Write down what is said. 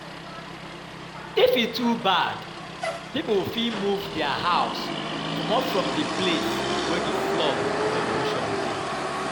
If e dey too bad, pipo fit move their house comot from di place wey di flood or erosion dey